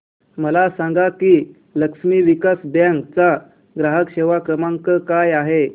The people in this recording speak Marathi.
मला सांगा की लक्ष्मी विलास बँक चा ग्राहक सेवा क्रमांक काय आहे